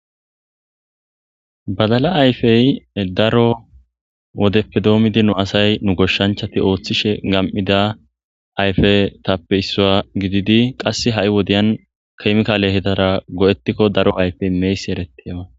Badala ayfey daro wodeppe doomidi nu asay nu goshshanchati ooththishe gam7ida ayfe tappe issuya gididi qasse ha7i wodiyan keymka lehetara go7ettikko daro ayfey meyssi erettiaa.